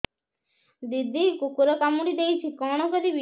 ଦିଦି କୁକୁର କାମୁଡି ଦେଇଛି କଣ କରିବି